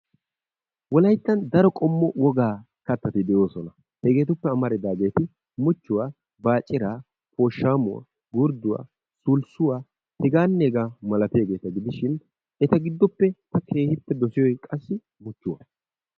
Wolayttan daro qommo wogaa katati de'oosona. Hegetuppe amaridaageti mucchuwa, baaciraa, pooshamuwaa, gurdduwa, sulssuwa, hegaanne hegaa malatiyageeta gidishin eta gidoppe ta keehi dossiyoge qassi muchuwaa.